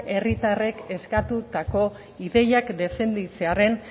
herritarrek eskatutako ideiak defenditzearren